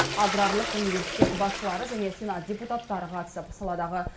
аграрлық университет басшылары және сенат депутаттары қатысып саладағы